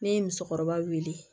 Ne ye musokɔrɔba wele